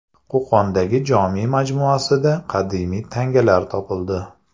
Qo‘qondagi Jome majmuasida qadimiy tangalar topildi.